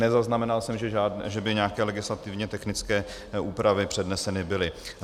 - Nezaznamenal jsem, že by nějaké legislativně technické úpravy předneseny byly.